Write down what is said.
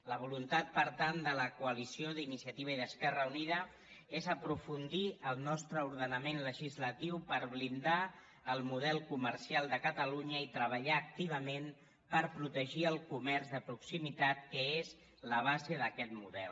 la voluntat per tant de la coa·lició d’iniciativa i d’esquerra unida és aprofundir el nostre ordenament legislatiu per blindar el model co·mercial de catalunya i treballar activament per pro·tegir el comerç de proximitat que és la base d’aquest model